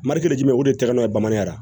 Marikiga o de tɛgɛnɛ ye bamananya la